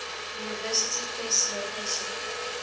university press location